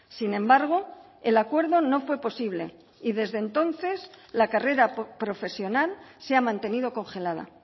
sin embargo el acuerdo no fue posible y desde entonces la carrera profesional se ha mantenido congelada